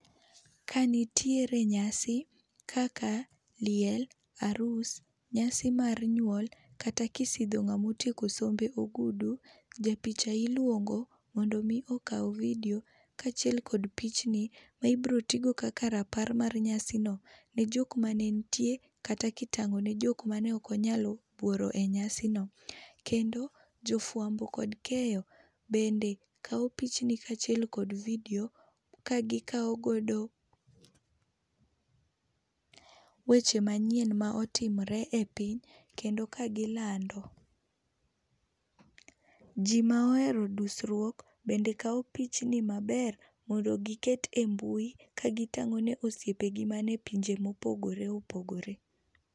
Ka nitiere nyasi kaka liel ,arus, nyasi mar nyuol kata kisidho ng'amotieko sombe ogudu, japicha iluongo mondo mi okaw vidio kaa chiel kod pichni ma ibiro tii go kaka rapar mar nyasino nejok mane nitie kata kitang'o ne jok mane ok onyalo yuoro enyasino. Kendo jofuambo kod keyo bende kawo pichni kaachiel kod vidio ka gikawo godo pause weche manyien ma otimore epiny kendo ka gilando. Ji ma ohero dusruok bende kawo pichni maber mondo giket embui kagitang'o ni osiepnigi mopogore opogore.